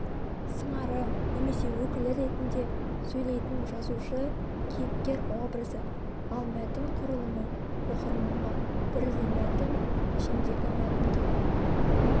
сыңары немесе өкілі ретінде сөйлейтін жазушы-кейіпкер образы ал мәтін құрылымы оқырманға бірде мәтін ішіндегі мәтінге